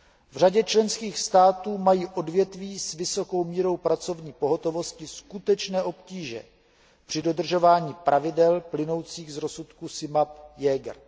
V řadě členských států mají odvětví s vysokou mírou pracovní pohotovosti skutečné obtíže při dodržování pravidel plynoucích z rozsudků SIMAP, Jaeger.